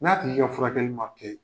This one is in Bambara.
N'a tigi ka furakɛli ma kɛ